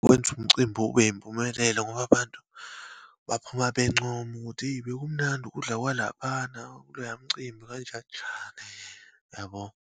Wenza umcimbi ube yimpumelelo ngoba, abantu baphuma bencoma ukuthi, hheyi bekumnandi ukudla kwalaphana kuloyamcimbi, kanjaninjai, yabo.